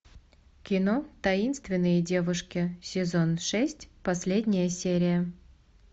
кино таинственные девушки сезон шесть последняя серия